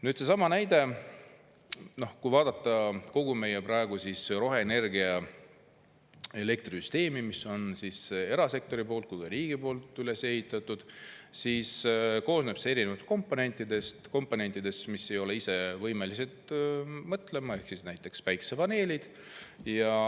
Nüüd seesama näide: kogu meie praegune roheenergia elektrisüsteem, mida nii erasektor kui ka riik on üles ehitanud, koosneb erinevatest komponentidest, mis ei ole ise võimelised mõtlema, nagu päikesepaneelid.